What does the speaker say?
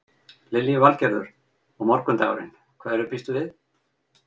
Lillý Valgerður: Og morgundagurinn, hverju býstu við?